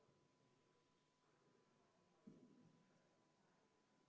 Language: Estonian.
Panen hääletusele teise muudatusettepaneku, mille on esitanud sotsiaalkomisjon.